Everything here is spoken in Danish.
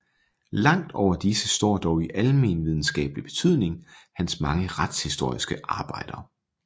Langt over disse står dog i almenvidenskabelig betydning hans mange retshistoriske arbejder